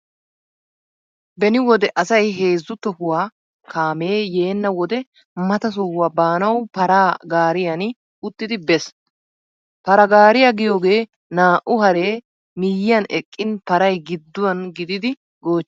Beni wode asay heezzu tohuwaawa kaamee yeenna wode mata sohuwaa baanawu paraa gaariyaani uttidi bees. Paraa gaariyaa giyoogee naa''u haree miyyiyan eqqin paray gidduwaan gididi goochchiyoogaa.